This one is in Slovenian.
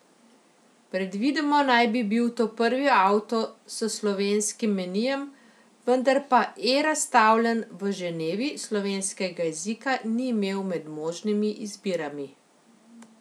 Predvidoma naj bi bil to prvi avto s slovenskim menijem, vendar pa E razstavljen v Ženevi slovenskega jezika ni imel med možnimi izbirami.